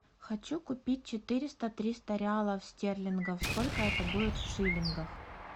хочу купить четыреста триста реалов стерлингов сколько это будет в шиллингах